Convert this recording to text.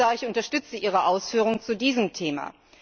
Herr Kommissar, ich unterstütze Ihre Ausführungen zu diesem Thema.